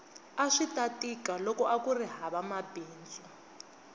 aswita tika loko akuri hava mabindzu